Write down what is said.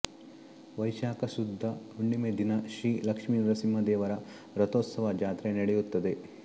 ವೈಶಾಖ ಶುದ್ಧ ಹುಣ್ಣಿಮೆ ದಿನ ಶ್ರೀ ಲಕ್ಷ್ಮೀ ನರಸಿಂಹ ದೇವರ ರಥೋತ್ಸವ ಜಾತ್ರೆ ನಡೆಯುತ್ತದೆ